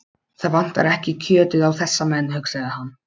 Það vantar ekki kjötið á þessa menn, hugsaði hann.